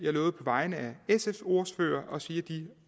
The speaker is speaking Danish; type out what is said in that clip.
har lovet på vegne af sfs ordfører at sige